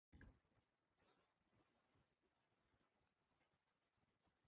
Hvernig hefur gengið að samræma vinnu og fótboltann?